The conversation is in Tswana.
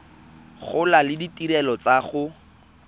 gola le ditirelo tsa go